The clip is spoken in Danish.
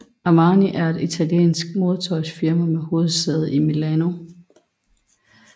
Armani er et italiensk modetøjsfirma med hovedsæde i Milano